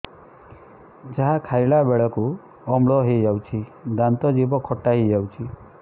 ଯାହା ଖାଇଲା ବେଳକୁ ଅମ୍ଳ ହେଇଯାଉଛି ଦାନ୍ତ ଜିଭ ଖଟା ହେଇଯାଉଛି